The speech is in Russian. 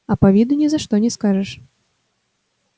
а по виду ни за что не скажешь